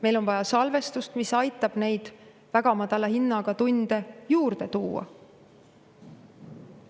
Meil on vaja salvestust, mis aitab väga madala hinnaga tunde juurde tuua.